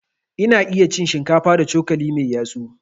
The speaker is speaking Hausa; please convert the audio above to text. Ina iya cin shinkafa da cokali mai yatsu.